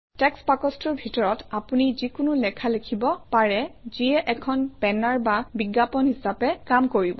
text বাকচটোৰ ভিতৰত আপুনি যিকোনো লেখা লিখিব পাৰে যিয়ে এখন বেনাৰ বা বিজ্ঞাপন হিচাপে কাম কৰিব